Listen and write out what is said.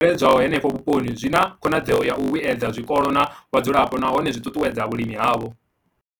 I bveledzwaho henefho vhuponi zwi na khonadzeo ya u vhuedza zwikolo na vhadzulapo nahone zwi ṱuṱuwedza vhulimi havho.